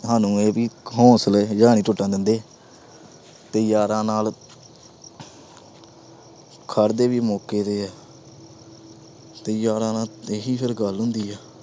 ਸਾਨੂੰ ਇਹ ਵੀ ਹੌਂਸਲੇ ਜਾ ਨਹੀਂ ਟੁੱਟਣ ਦਿੰਦੇ। ਤੇ ਯਾਰਾ ਨਾਲ ਖੜ੍ਹਦੇ ਵੀ ਮੌਕੇ ਤੇ ਆ। ਤੇ ਯਾਰਾ ਨਾਲ ਇਹੀ ਫਿਰ ਗੱਲ ਹੁੰਦੀ ਆ।